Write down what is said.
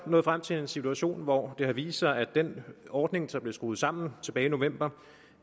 nået frem til en situation hvor det har vist sig at den ordning der blev skruet sammen tilbage i november